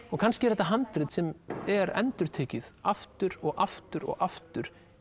og kannski er þetta handrit sem er endurtekið aftur og aftur og aftur